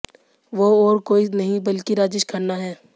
वो और कोई नहीं बल्कि राजेश खन्ना हैं